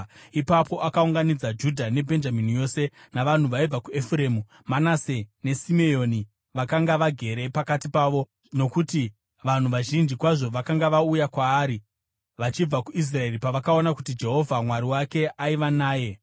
Ipapo akaunganidza Judha neBhenjamini yose navanhu vaibva kuEfuremu, Manase neSimeoni vakanga vagere pakati pavo; nokuti vanhu vazhinji kwazvo vakanga vauya kwaari vachibva kuIsraeri pavakaona kuti Jehovha Mwari wake aiva naye.